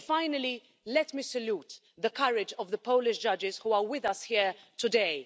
Finally, let me salute the courage of the Polish judges who are with us here today.